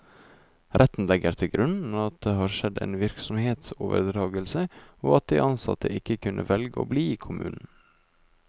Retten legger til grunn at det har skjedd en virksomhetsoverdragelse, og at de ansatte ikke kunne velge å bli i kommunen.